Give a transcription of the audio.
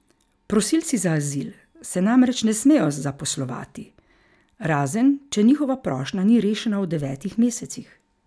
Prosilci za azil se namreč ne smejo zaposlovati, razen če njihova prošnja ni rešena v devetih mesecih.